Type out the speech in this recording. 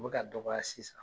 U be ka dɔgɔya sisan.